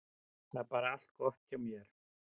Það var bara allt gott hjá þér.